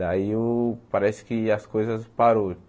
Daí o parece que as coisas pararam.